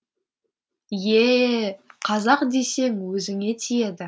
ееее қазақ десең өзіңе тиеді